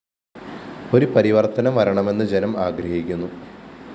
ഒരു പരിവര്‍ത്തനം വരണമെന്ന്‌ ജനം ആഗ്രഹിക്കുന്നു